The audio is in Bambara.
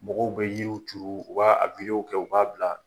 Mɔgɔw bɛ yiriw turu, o b'a a wideyo kɛ, u b'a bila